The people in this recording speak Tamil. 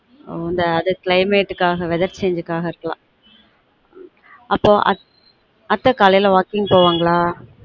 இந்த climate காஹ weather change காஹ இருக்கலாம்